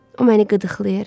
O məni qıdıqlayır.